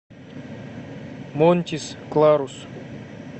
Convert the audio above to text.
монтис кларус